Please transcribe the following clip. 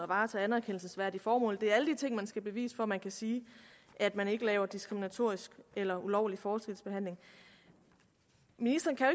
varetager anerkendelsesværdige formål det er alle de ting man skal bevise for at man kan sige at man ikke laver diskriminatorisk eller ulovlig forskelsbehandling ministeren kan